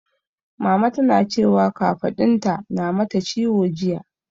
Mama tana cewa kafaɗunta na mata ciwo jiya.